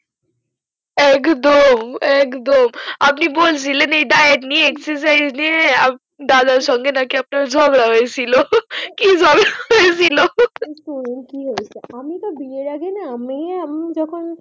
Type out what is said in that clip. একদম একদম আপনি বলছিলেন এই ডায়েট নিয়ে এই exercise নিয়ে দাদার সঙ্গে নাকি আপনার ঝগড়া হয়েছিল, হা হা কি ঝগড়া হয়ছিল। শোনেন কি হয়েছে, আমি তো বিয়ের আগে না মেয়ে আমি যখন